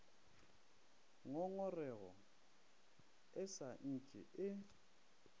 ngongorego e sa ntše e